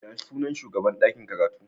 Ya sunan shugaban dakin karatu?